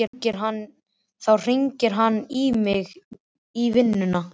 Þá hringir hann í mig í vinnuna.